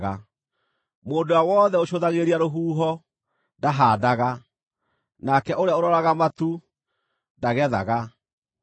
Mũndũ ũrĩa wothe ũcũthagĩrĩria rũhuho, ndahaandaga; nake ũrĩa ũroraga matu, ndagethaga.